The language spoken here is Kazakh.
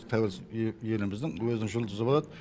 тәуелсіз еліміздің өзінің жұлдызы болады